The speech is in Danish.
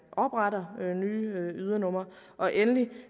opretter nye ydernumre og endelig